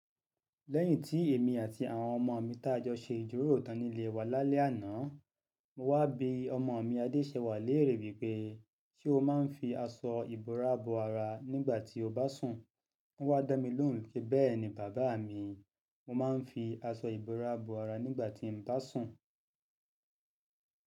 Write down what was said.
Lẹ́yìn tí èmi àti àwọn ọmọ mi tájọ́ ṣe ìjiròró ìtàn nílé wa lálẹ́ àná, mo wá bi ọmọ mi Adéṣẹwà lẹ́rè wípé “ṣé o máa ń fi aṣọ ìbora bo ara nígbà tí o bá sùn? Ó wá dàmí lóhùn pé “Bẹ́ẹ̀ ni bàbá mi, mo máa ń fi aṣọ ìbora bo ara nígbà tí mo bá sùn.”